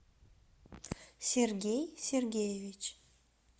сергей сергеевич